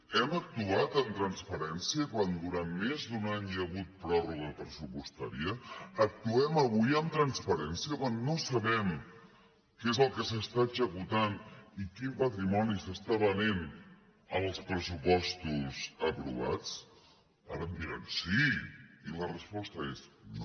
hem actuat amb transparència quan durant més d’un any hi ha hagut pròrroga pressupostària actuem avui amb transparència quan no sabem què és el que s’està executant i quin patrimoni s’està venent amb els pressupostos aprovats ara em diran sí i la resposta és no